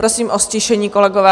Prosím o ztišení kolegové.